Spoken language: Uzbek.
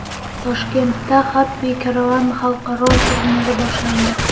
Toshkentda Happy Caravan xalqaro turniri boshlandi .